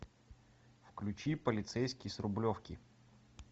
включи полицейский с рублевки